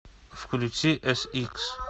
включи эсикс